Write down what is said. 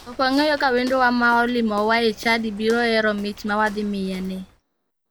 Ok wang'eyo ka wendowa ma olimowa e chadi biro hero mich ma wadhimiyeni.